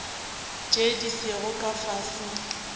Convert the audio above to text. tše di sego ka fase